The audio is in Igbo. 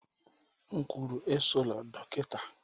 M kwuru, esola dọkịta!